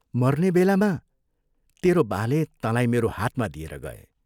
मर्ने बेलामा तेरो बाले तँलाई मेरो हातमा दिएर गए।